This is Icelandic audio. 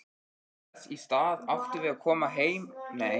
Þess í stað áttum við að koma beinustu leið heim.